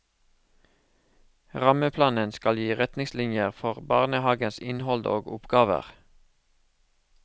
Rammeplanen skal gi retningslinjer for barnehagens innhold og oppgaver.